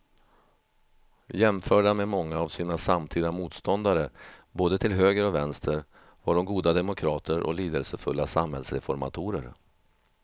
Jämförda med många av sina samtida motståndare både till höger och vänster var de goda demokrater och lidelsefulla samhällsreformatorer.